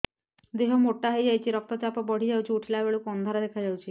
ଦେହ ମୋଟା ହେଇଯାଉଛି ରକ୍ତ ଚାପ ବଢ଼ି ଯାଉଛି ଉଠିଲା ବେଳକୁ ଅନ୍ଧାର ଦେଖା ଯାଉଛି